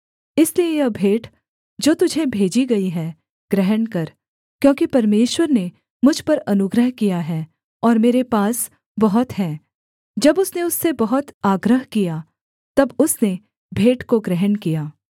इसलिए यह भेंट जो तुझे भेजी गई है ग्रहण कर क्योंकि परमेश्वर ने मुझ पर अनुग्रह किया है और मेरे पास बहुत है जब उसने उससे बहुत आग्रह किया तब उसने भेंट को ग्रहण किया